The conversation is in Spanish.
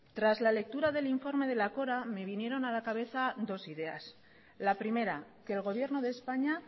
tras la lectura del informe de la cora me vinieron a la cabeza dos ideas la primera que el gobierno de españa